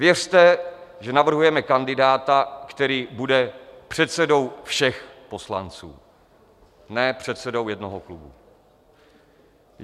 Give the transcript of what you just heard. Věřte, že navrhujeme kandidáta, který bude předsedou všech poslanců, ne předsedou jednoho klubu.